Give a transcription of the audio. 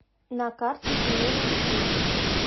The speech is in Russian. на карте семейный стиль